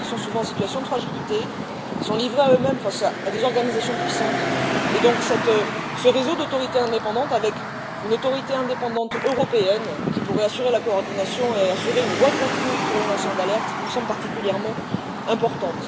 Nous l'avons dit, ils sont souvent en situation de fragilité et livrés à eux mêmes face à des organisations puissantes et, donc, ce réseau d'autorités indépendantes, avec une autorité indépendante européenne qui pourrait assurer la coordination et une voie de recours pour les lanceurs d'alerte, nous semble particulièrement important.